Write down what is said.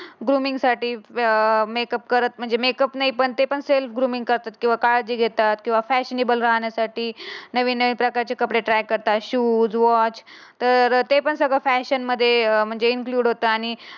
Grooming साठी व्या अं मेकअप करत म्हणजे मेकअप नाही. पण ते पण सेल ग्रोमिंग करतात. किंवा काळजी घेतात किंवा फॅशनीबल राहण्यासाठी नवीन नवीन प्रकारचे कपडे ट्रॅक करतात. शूज, वॉच तर ते पण सगळ्या फॅनशी फॅशनमध्ये म्हणजे इंक्लुड होतात.